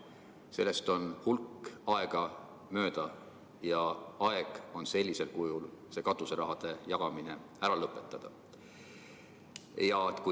Sellest on hulk aega möödas ja aeg on see katuseraha jagamine sellisel kujul ära lõpetada.